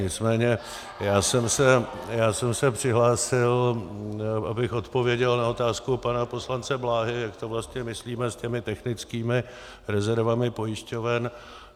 Nicméně já jsem se přihlásil, abych odpověděl na otázku pana poslance Bláhy, jak to vlastně myslíme s těmi technickými rezervami pojišťoven.